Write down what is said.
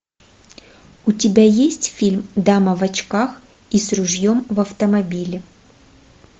у тебя есть фильм дама в очках и с ружьем в автомобиле